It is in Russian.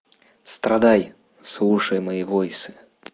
страдай слушай мои войсы